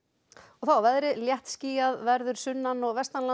þá að veðri léttskýjað verður sunnan og